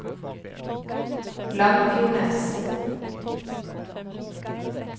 Langfjordnes